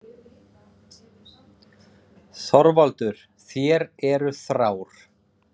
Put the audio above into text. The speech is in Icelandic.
ÞORVALDUR: Þér eruð þrár.